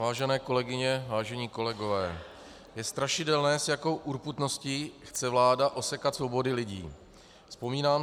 Vážené kolegyně, vážení kolegové, je strašidelné, s jakou urputností chce vláda osekat svobody lidí.